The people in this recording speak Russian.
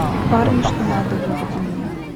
парни что надо выведи мне